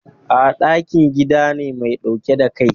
A'a, ɗakin gida ne mai ɗauke da Kai.